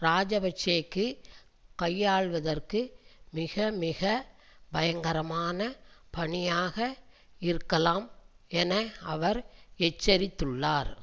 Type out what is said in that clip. இராஜபக்ஷவுக்கு கையாள்வதற்கு மிக மிக பயங்கரமான பணியாக இருக்கலாம் என அவர் எச்சரித்துள்ளார்